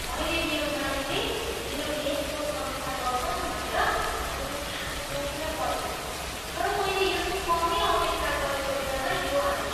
मैले मेरो मालिकले मेरो लेखको समीक्षा गर्छन् भनेर मैले सास रोकेर पर्खेँ, तर मैले यसको कमै अपेक्षा गरेको बेलामा यो आयो।